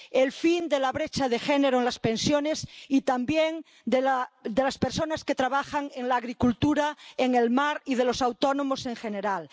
el fin de la brecha de género en las pensiones, y también de las personas que trabajan en la agricultura y en el mar y de los autónomos en general